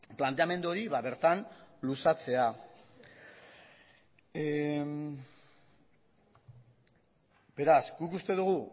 planteamendu hori bertan luzatzea beraz guk uste dugu